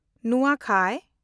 ᱱᱩᱣᱟᱠᱷᱟᱭ